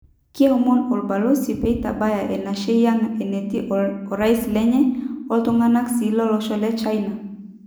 Kiomon obalosi peitabaya enashei ang enetii orais lenye, woltunganak sii lolosho le China.''